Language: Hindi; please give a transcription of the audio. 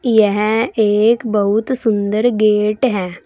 यहां एक बहुत सुंदर गेट है।